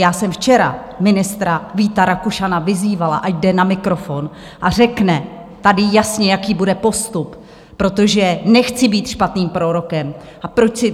Já jsem včera ministra Víta Rakušana vyzývala, ať jde na mikrofon a řekne tady jasně, jaký bude postup, protože nechci být špatným prorokem, a proč.